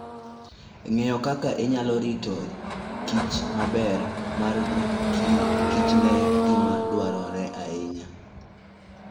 Ng'eyo kaka inyalo rit kichmaber mar kichen gima dwarore ahinya.